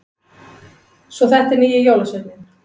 Svo þetta er nýji jólasveininn!